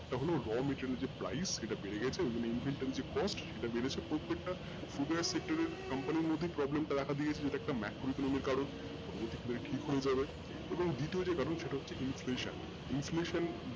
তখন যে raw meterial এর যে price ওটা বেড়ে গেছে cost সেটা বেড়েছে প্রত্যেকটা sector এর company র মধ্যে problem টা দেখা দিছে যে একটা কারন পরবর্তীকালে ঠিক হয়ে যাবে এবং দ্বিতীয় যে কারন সেটা হচ্ছে